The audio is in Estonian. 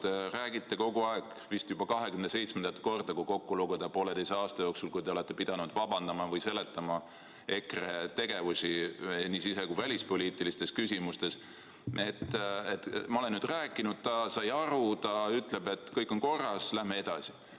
Te olete kogu aeg, vist juba 27. korda, kui kokku lugeda, pooleteise aasta jooksul pidanud vabandama või seletama EKRE tegevust nii sise- kui välispoliitilistes küsimustes: et ma olen nüüd temaga rääkinud, ta sai aru, ta ütleb, et kõik on korras, läheme edasi.